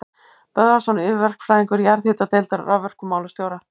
Böðvarsson yfirverkfræðingur jarðhitadeildar raforkumálastjóra.